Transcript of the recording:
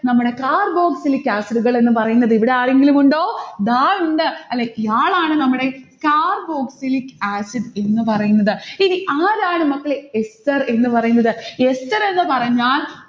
നമ്മടെ carboxylic acid കൾ എന്ന് പറയുന്നത്. ഇവിടെ ആരെങ്കിലുമുണ്ടോ? ദാ ഉണ്ട്. അല്ലെ ഇയാളാണ് നമ്മടെ carboxylic acid എന്ന് പറയുന്നത്. ഇനി ആരാണ് മക്കളെ ester എന്ന് പറയുന്നത്. ester എന്ന് പറഞ്ഞാൽ